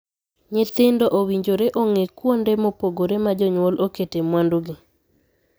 Nyithindo owinjore ong'ee kuonde mopogore ma jonyuol okete mwandugi.